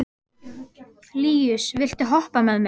Líus, viltu hoppa með mér?